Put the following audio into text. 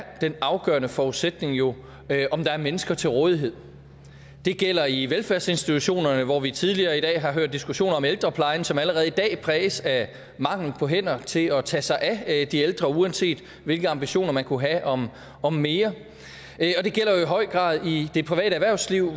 den afgørende forudsætning jo er om der er mennesker til rådighed det gælder i velfærdsinstitutionerne hvor vi tidligere i dag har hørt diskussioner om ældreplejen som allerede i dag præges af mangel på hænder til at tage sig af de ældre uanset hvilke ambitioner man kunne have om om mere og det gælder jo i høj grad i det private erhvervsliv